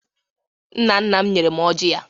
nna nna m nyere m ọjà ya.